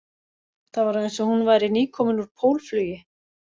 Það var eins og hún væri nýkomin úr pólflugi